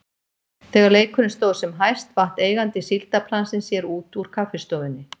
Þegar leikurinn stóð sem hæst vatt eigandi síldarplansins sér út úr kaffistofunni.